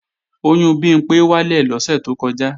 Oyún Bimpé wálẹ̀ lọ́sẹ̀ tó kọjá